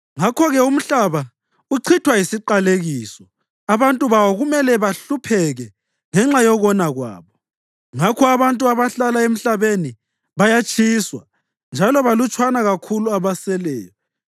Ngakho-ke umhlaba uchithwa yisiqalekiso; abantu bawo kumele bahlupheke ngenxa yokona kwabo. Ngakho abantu abahlala emhlabeni bayatshiswa, njalo balutshwana kakhulu abaseleyo.